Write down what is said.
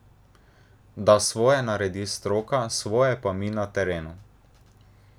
Da svoje naredi stroka, svoje pa mi na terenu.